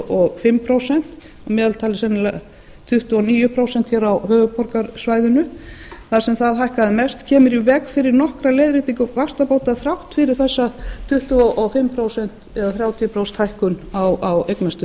og fimm prósent að meðaltali sennilega tuttugu og níu prósent á höfuðborgarsvæðinu þar sem það hækkaði mest kemur í veg fyrir nokkra leiðréttingu vaxtabóta þrátt fyrir þessa tuttugu og fimm prósent eða þrjátíu prósent hækkun á eignastuðlinum með því